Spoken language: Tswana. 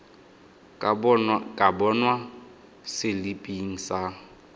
ka bonwa mo seliping sa